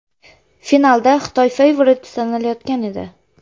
Finalda Xitoy favorit sanalayotgan edi.